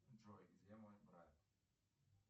джой где мой брат